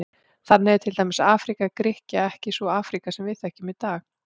Þannig er til dæmis Afríka Grikkja ekki sú Afríka sem við þekkjum í dag.